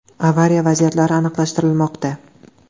Avariya vaziyatlari aniqlashtirilmoqda.